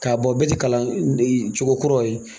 K'a bɔa bɛ ti kalan cogokuraw ye.